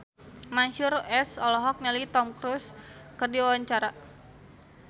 Mansyur S olohok ningali Tom Cruise keur diwawancara